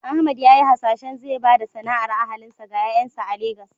Ahmad ya yi hasashen zai ba da sana’ar ahalinsa ga ƴaƴansa a Legas.